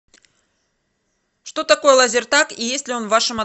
что такое лазертаг и есть ли он в вашем